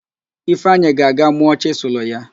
Ifeanyị ga-aga mụọ chịsịlụ ya